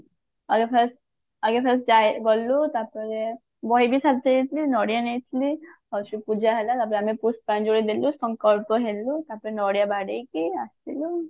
ଆମେ fast ଆମେ fast ଯାଇ ଗଲୁ ତାପରେ ବହିବି ସାଥିରେ ନେଇଥିଲିନଡିଆ ନେଇଥିଲି ଆଉ ଯୋଉ ପୂଜା ହେଲା ତାପରେ ଆମେ ପୁଷ୍ପାଞ୍ଜଳି ଦେଲୁ ସଂକଲ୍ପ ହେଲୁ ତାପରେ ନଡିଆ ବାଡେଇକି ଆସିଲୁ